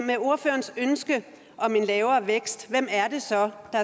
med ordførerens ønske om en lavere vækst